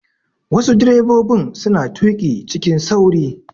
Wasu direbobin suna tuƙi cikin sauri.